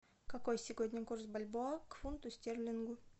какой сегодня курс бальбоа к фунту стерлингу